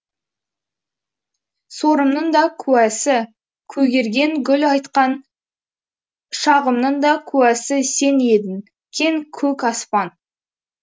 сорымның да куәсі көгерген гүл айтқан шағымның да куәсі сен едің кең көк аспан